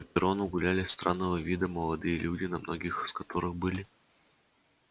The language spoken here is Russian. по перрону гуляли странного вида молодые люди на многих из которых были